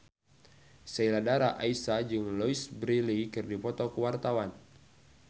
Sheila Dara Aisha jeung Louise Brealey keur dipoto ku wartawan